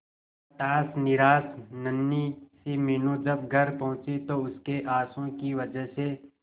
हताश निराश नन्ही सी मीनू जब घर पहुंची तो उसके आंसुओं की वजह से